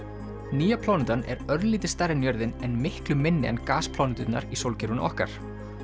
nýja plánetan er örlítið stærri en jörðin en miklu minni en í sólkerfinu okkar